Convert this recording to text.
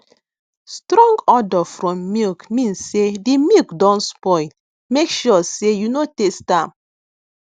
strong odour from milk mean sey the milk don spoil make sure sey you no taste am